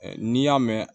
N'i y'a mɛn